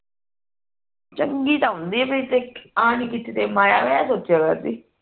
ਚੰਗੀ ਤਾਂ ਹੁੰਦੀ ਆ ਨਹੀਂ ਕੀ